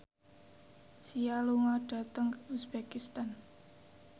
Sia lunga dhateng uzbekistan